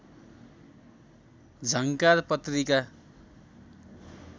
झङ्कार पत्रिका